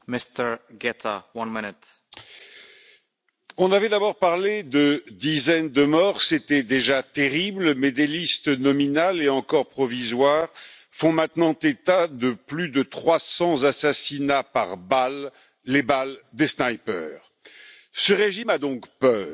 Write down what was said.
Monsieur le Président, on avait d'abord parlé de dizaines de morts, et c'était déjà terrible. Mais des listes nominales et encore provisoires font maintenant état de plus de 300 assassinats par balles, les balles des snipers. Ce régime a donc peur,